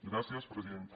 gràcies presidenta